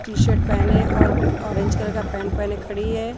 T shirt पहने और orange colour का पैंट पहने खड़ी हैं।